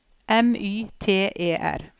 M Y T E R